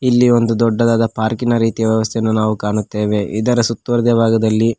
ಇಲ್ಲಿ ಒಂದು ದೊಡ್ಡದಾದ ಪಾರ್ಕಿನ ರೀತಿಯ ವ್ಯವಸ್ಥೆಯನ್ನು ನಾವು ಕಾಣುತ್ತೇವೆ ಇದರ ಸುತ್ತುವರೆದ ಭಾಗದಲ್ಲಿ--